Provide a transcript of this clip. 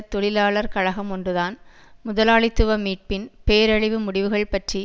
தொழிலாளர் கழகம் ஒன்றுதான் முதலாளித்துவ மீட்பின் பேரழிவு முடிவுகள் பற்றி